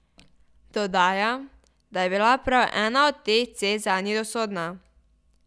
Dodaja, da je bila prav ena od teh cest zanju usodna.